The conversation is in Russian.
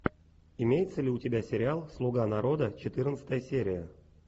имеется ли у тебя сериал слуга народа четырнадцатая серия